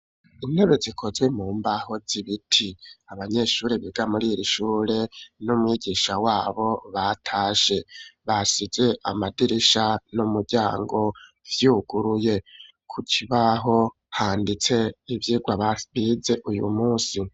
Intebe zikozwe mu mbaho zibiti, abanyeshuri biga muri iri ishure, n'umwigisha wabo batashe, basize Amadirisha n'umuryango vyuguruye, ku kibaho vanditse ivyigwa babize uyu munsi.